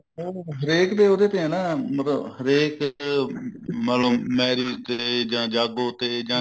ਉਹ ਹਰੇਕ ਉਹਦੇ ਤੇ ਏ ਨਾ ਮਤਲਬ ਹਰੇਕ ਮਤਲਬ marriage ਤੇ ਜਾਂ ਜਾਗੋ ਤੇ ਜਾਂ